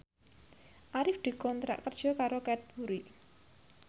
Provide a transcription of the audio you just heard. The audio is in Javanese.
Arif dikontrak kerja karo Cadbury